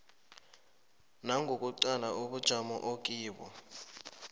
nangokuqala ubujamo okibo